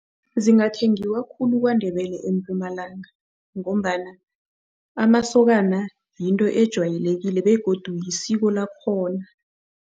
Zingathengiwa khulu KwaNdebele eMpumalanga ngombana amasokana yinto ejwayelekile begodu yisiko lakhona.